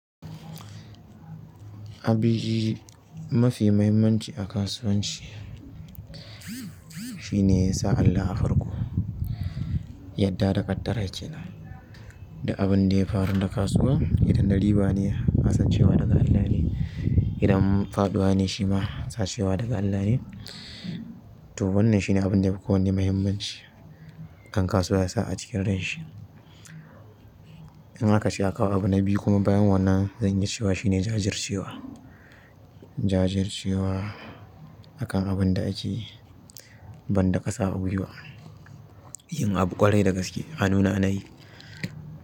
Abu mafi mahimmanci a kasuwanci shine sa Allah a farko, yadda da ƙaddara kenan. Duk abun da ya faru da kasuwa idan na riba ne, kasancewa daga Allah ne. Idan faɗuwa ne shi ma kasancewa daga Allah ne. To wannan shine abun da yafi ko wanne mahimmanci ɗan kasuwa ya sa acikin ranshi. In ak ce a kawo abu na biyu kuma bayan wannan zan yi cewa shine jajircewa. Jajircewa akan abin da ake, ban da ƙasa a gwiwa. Yin abu ƙwarai da gaske, a nuna anayi.